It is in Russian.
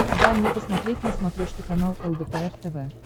дай мне посмотреть на смотрешке канал лдпр тв